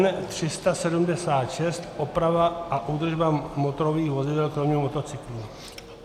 N376 - oprava a údržba motorových vozidel kromě motocyklů.